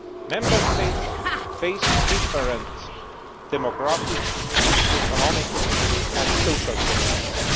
Member States face different demographic, economic and social conditions.